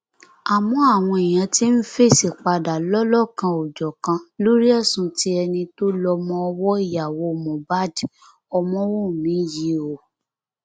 àmọ àwọn èèyàn ti ń fèsì padà lọlọkanòjọkan lórí ẹsùn tí ẹni tó lọmọọwọ ìyàwó moh bad ọmọwọnmi yìí o